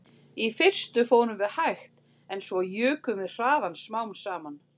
Í fyrstu fórum við hægt en svo jukum við hraðann smám saman